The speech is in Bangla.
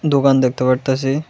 দোকান দেখতে পারতাছি।